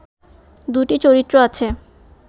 দুটি চরিত্র আছে